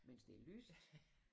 Mens det lyst